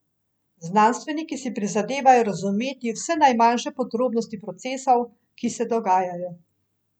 Znanstveniki si prizadevajo razumeti vse najmanjše podrobnosti procesov, ki se dogajajo.